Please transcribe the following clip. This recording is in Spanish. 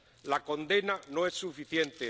La condena no es suficiente.